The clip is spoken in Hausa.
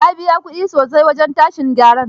Na biya ƙudi sosai wajen tashin garar.